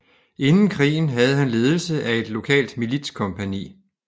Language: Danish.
Inden krigen havde han ledelse af et lokalt militskompagni